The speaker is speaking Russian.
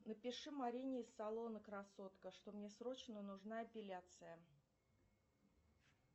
напиши марине из салона красотка что мне срочно нужна эпиляция